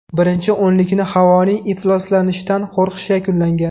Birinchi o‘nlikni havoning ifloslanishidan qo‘rqish yakunlagan.